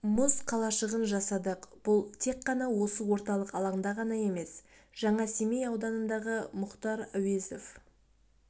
мұз қалашығын жасадық бұл тек қана осы орталық алаңда ғана емес жаңасемей ауданындағы мұхтар әуезов